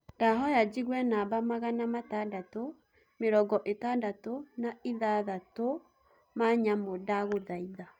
ndahoya njĩgũe namba magana matandatu , mĩrongoĩtandatũ naĩthathatu ma nyamũ ndagũthaĩtha